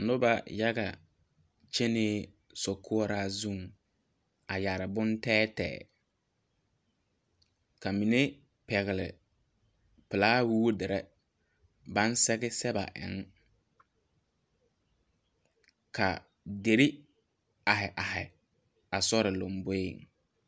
Nuba yaga kyenee sokoura zun a yare bunteɛteɛ ka mene pɛgle plawuudiri bang sege sebe eng ka deri arẽ arẽ a sori lomboe.